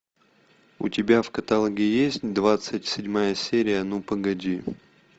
у тебя в каталоге есть двадцать седьмая серия ну погоди